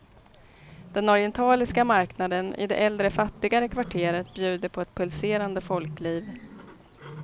Den orientaliska marknaden i det äldre, fattigare kvarteret bjuder på ett pulserande folkliv.